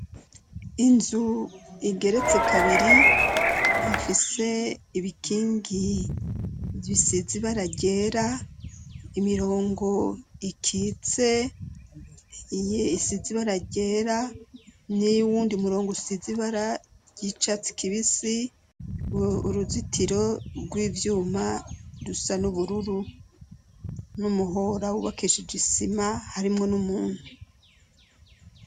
Inzu igeretse kabiri ifise ibikingi bisize ibara ryera, imirongo ikitse isize ibara ryera n'uyundi murongo usize ibara ry'icatsi kibisi, uruzitiro rw'ivyuma rusa n'ubururu n'umuhora wubakishije igisima, harimwo n'umuntu.